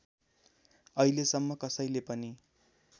अहिलेसम्म कसैले पनि